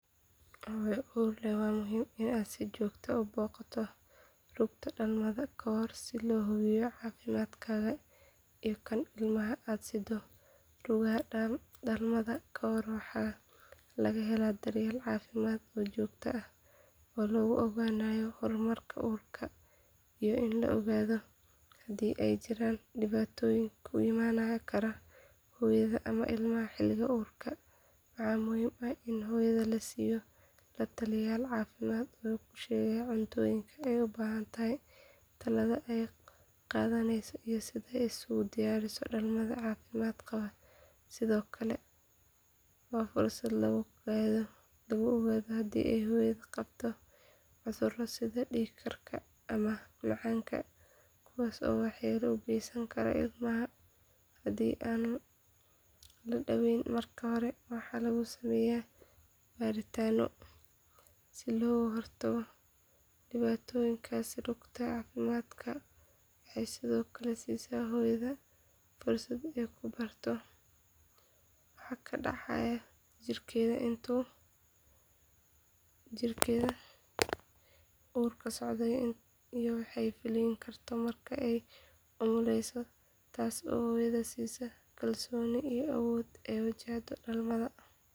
Hooyo uur leh waa muhiim in aad si joogto ah u booqato rugta dhalmada ka hor si loo hubiyo caafimaadkaaga iyo kan ilmaha aad siddo rugaha dhalmada ka hor waxaa laga helaa daryeel caafimaad oo joogto ah oo lagu ogaanayo horumarka uurka iyo in la ogaado hadii ay jiraan dhibaatooyin ku imaan kara hooyada ama ilmaha xilliga uurka waxaa muhiim ah in hooyada la siiyo la taliyayaal caafimaad oo u sheegaya cuntooyinka ay u baahan tahay talaalada ay qaadaneyso iyo sida ay isugu diyaariso dhalmada caafimaad qabta sidoo kale waa fursad lagu ogaado hadii hooyadu qabto cuduro sida dhiig karka ama macaanka kuwaasoo waxyeelo u geysan kara ilmaha hadii aan la daaweyn marka hore waxaana lagu sameeyaa baaritaanno si looga hortago dhibaatooyinkaasi rugta caafimaadka waxay sidoo kale siisaa hooyada fursad ay ku barato waxa ka dhacaya jirkeeda intuu uurku socdo iyo waxa ay filan karto marka ay umuleyso taasoo hooyada siisa kalsooni iyo awood ay ku wajahdo dhalmada.